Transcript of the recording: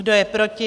Kdo je proti?